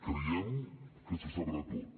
creiem que se sabrà tot